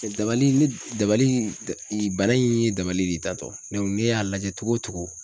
Dabali ne dabali banna in ye dabali ye tantɔ ne y'a lajɛ cogo o cogo